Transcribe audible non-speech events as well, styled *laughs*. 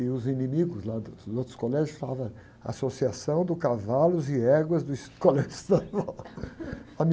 E os inimigos lá do, dos outros colégios falavam, associação do cavalos e éguas dos colégios estaduais... *laughs*